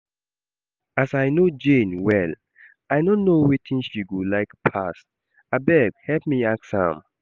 As I no know Jane well, I no know wetin she go like pass, abeg help me ask am